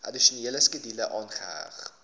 addisionele skedule aangeheg